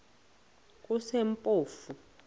kusempofu